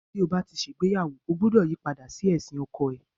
Tí o bá ti ṣe ìgbéyàwó, ọ gbúdọ̀ yí padà sí ẹ̀sìn ọkọ rẹ.